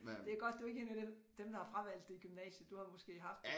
Det er godt du ikke er én af dem dem der har fravalgt det i gymnasiet du har måske haft